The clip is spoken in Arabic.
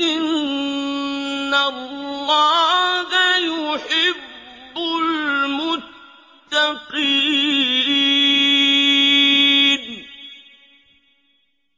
إِنَّ اللَّهَ يُحِبُّ الْمُتَّقِينَ